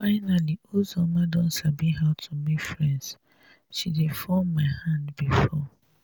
finally uzoma don sabi how to make friends she dey fall my hand before